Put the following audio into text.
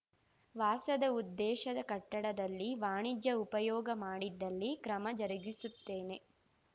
ವಾಸದ ಉದ್ದೇಶದ ಕಟ್ಟಡದಲ್ಲಿ ವಾಣಿಜ್ಯ ಉಪಯೋಗ ಮಾಡಿದಲ್ಲಿ ಕ್ರಮ ಜರುಗಿಸುತ್ತೇನೆ